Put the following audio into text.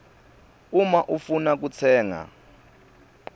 uma ufuna kutsenga